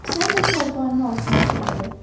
Sən də çarpayının altına itələdi.